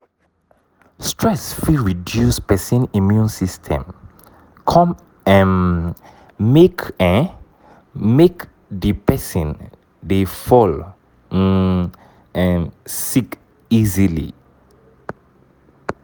stress fit reduce person immune system come um make um make di person dey fall um sick easily